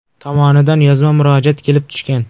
tomonidan yozma murojaat kelib tushgan.